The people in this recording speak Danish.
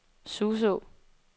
Suså